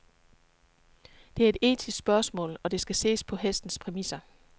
Det er et etisk spørgsmål, og det skal ses på hestens præmisser.